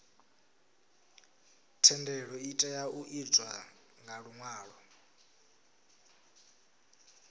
thendelo itea u itwa nga luṅwalo